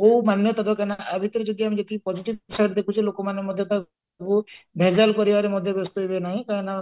କଉ ମାନ୍ୟତା ଦରକାର ନା ଆ ଭିତରେ ଯଦି ଯେତିକି positive ହିସାବରେ ଦେଖୁଛେ ଲୋକମାନେ ମଧ୍ୟ ତାକୁ ବହୁତ ଭେଜାଲ କରିବାରେ ମଧ୍ୟ ବ୍ୟସ୍ତ ହେବେ ନାହିଁ କାହିଁକି ନା